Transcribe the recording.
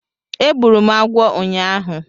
Egburu m agwọ ụnyaahụ